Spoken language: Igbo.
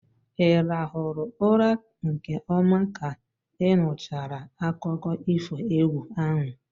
Ị rahụrụ ụra nke ọma ka ị nụchara akụkọ ifo egwu ahụ?